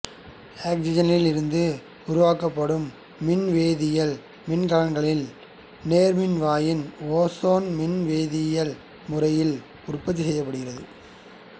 ஆக்சிசனிலிருந்து உருவாக்கப்படும் மின்வேதியியல் மின்கலன்களில் நேர்மின்வாயில் ஓசோன் மின்வேதியியல் முறையில் உற்பத்தி செய்யப்படுகிறது